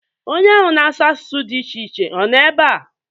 Onye ahụ na-asụ asụsụ dị iche iche ọ nọ ebea?